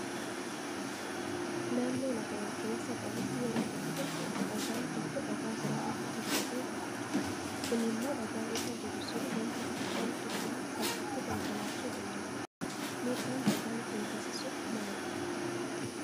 Naannoo lafa ol ka'iinsa qabuutti yeroo tokko tokko dhagaan tokko dhagaa biraa irra hirkatee taa'a. Kunimmoo dhagaan irra jiru sun wanti xiqqoon tuqnaan salphaatti konkolaachuu danda'a. Miidhaan dhagaan kun geessisu maali?